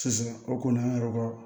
Sisan o kɔni an yɛrɛ ka